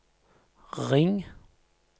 ring